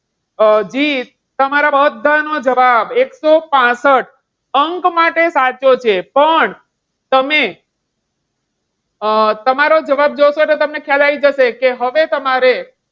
અમ જીત તમારા બધાનો જવાબ એકસો પાસઠ અંક માટે સાચું છે. પણ તમે અમ તમારો જવાબ જોશો એટલે તમને ખ્યાલ આવી જશે. કે હવે તમારે,